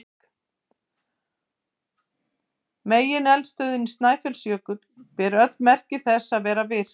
Megineldstöðin Snæfellsjökull ber öll merki þess að vera virk.